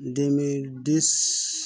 Dimind